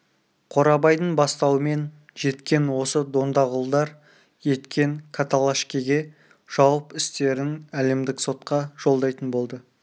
қорабайдың бастауымен жеткен осы дондағұлдар екен каталашкеге жауып істерін әлемдік сотқа жолдайтын болды